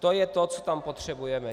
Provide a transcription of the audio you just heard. To je to, co tam potřebujeme.